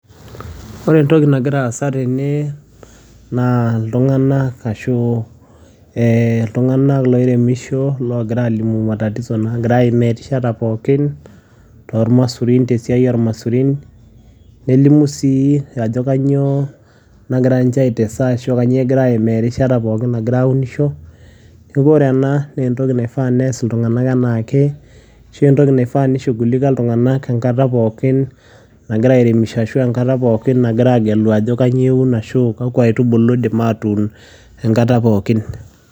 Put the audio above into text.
Ore entoki nagira aasa tene naa iltung'anak ashu iltung'anak loiremisho, logira alimu matatizo nagira aimaa erishata pookin tormasurin tesiai ormasurin, nelimu si ajo kanyioo nagira nche ai tesa ashu kanyioo egira aimaa erishata pookin nagira aunisho, neeku ore ena nentoki naifaa nees iltung'anak enake, ashu entoki naifaa ni shughulika iltung'anak enkata pookin, nagira airemisho ashu ennkata pookin nagira agelu ajo kanyioo eun ashu kakwa aitubulu idim atuun enkata pookin.